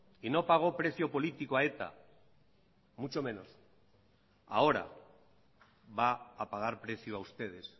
y no pagó precio político a eta mucho menos ahora va a pagar precio a ustedes